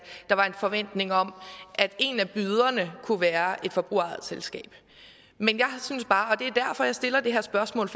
der var en forventning om at en af byderne kunne være et forbrugerejet selskab men jeg synes bare og det er derfor jeg stiller det her spørgsmål